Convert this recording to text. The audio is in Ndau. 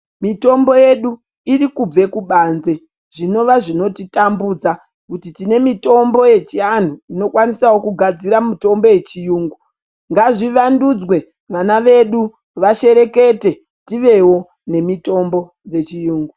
Mitombo yedu irikubve kubanze, zvinova zvinotitambudza kuti tine mitombo yechianhu inokwanisawo kugadzira mitombo yechiyungu. Ngazvivandudzwe vana vedu vasherekete tivevo nemitombo dzechiyungu.